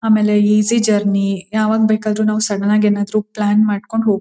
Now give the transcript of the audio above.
ಆಮೇಲೆ easy journey ಯಾವಾಗ್ ಬೇಕಾದ್ರು ನಾವು ಸಡನ್ ಆಗಿ ಏನಾದ್ರು ಪ್ಲಾನ್ ಮಾಡ್ಕೊಂಡ್ ಹೋಗ್ --